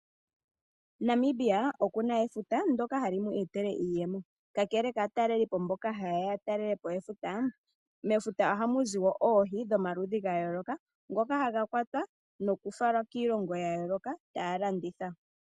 Namibia okuna efuta dyoka hali mu etele iiyemo. Kakele kaatalelipo mboka hayeya ya talelepo efuta, mefuta ohamuzi woo oohi dhomaludhi ga yooloka ndhoka hadhi kwatwa noku fala kiilongo yili taya landitha.